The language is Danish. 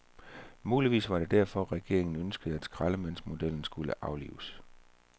Muligvis var det derfor, regeringen ønskede, at skraldemandsmodellen skulle aflives.